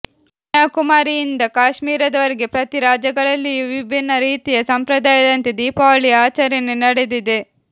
ಕನ್ಯಾಕುಮಾರಿಯಿಂದ ಕಾಶ್ಮೀರದವರೆಗೆ ಪ್ರತಿ ರಾಜ್ಯಗಳಲ್ಲಿಯೂ ವಿಭಿನ್ನ ರೀತಿಯ ಸಂಪ್ರದಾಯದಂತೆ ದೀಪಾವಳಿಯ ಆಚರಣೆ ನಡೆದಿದೆ